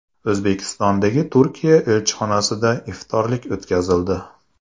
O‘zbekistondagi Turkiya elchixonasida iftorlik o‘tkazildi.